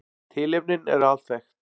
Tilefnin eru alþekkt